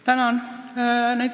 Tänan!